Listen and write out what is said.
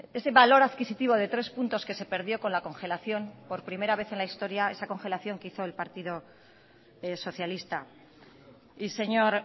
ese valor adquisitivo de tres puntos que se perdió con la congelación por primera vez en la historia esa congelación que hizo el partido socialista y señor